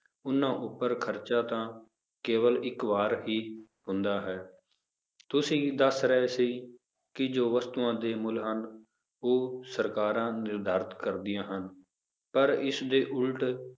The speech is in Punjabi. ਉਹਨਾਂ ਉੱਪਰ ਖ਼ਰਚਾ ਤਾਂ ਕੇਵਲ ਇੱਕ ਵਾਰ ਹੀ ਹੁੰਦਾ ਹੈ, ਤੁਸੀਂ ਦੱਸ ਰਹੇ ਸੀ ਵੀ ਜੋ ਵਸਤੂਆਂ ਦੇ ਮੁੱਲ ਹਨ, ਉਹ ਸਰਕਾਰਾਂ ਨਿਰਧਾਰਤ ਕਰਦੀਆਂ ਹਨ, ਪਰ ਇਸਦੇ ਉੱਲਟ